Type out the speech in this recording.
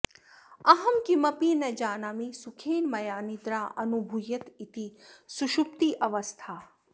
अहं किमपि न जानामि सुखेन मया निद्राऽनुभूयत इति सुषुप्त्यवस्था